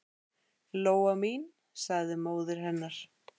Lóa mín, sagði móðir hennar.